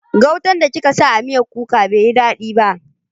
Gautan da kika sa a miyar kuka bai yi dadi ba.